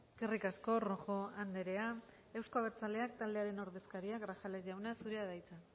eskerrik asko rojo andrea euzko abertzaleak taldearen ordezkaria grajales jauna zurea da hitza